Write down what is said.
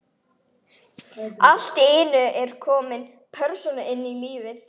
Allt í einu er komin persóna inn í líf